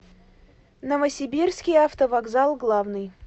новосибирский автовокзал главный